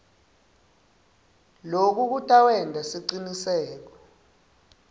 loku kutawenta siciniseko